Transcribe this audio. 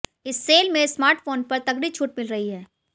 इस सेल में स्मार्टफोन्स पर तगड़ी छूट मिल रही है